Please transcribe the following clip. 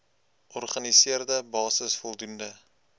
organiseerde basis voldoende